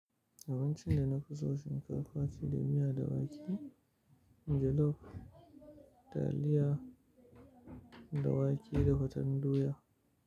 Abincin da na fi so shinka ce da miya da wake, jollof, taliya da wake da faten doya.